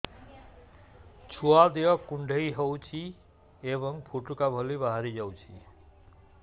ଛୁଆ ଦେହ କୁଣ୍ଡେଇ ହଉଛି ଏବଂ ଫୁଟୁକା ଭଳି ବାହାରିଯାଉଛି